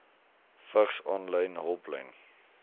vigs aanlyn hulplyn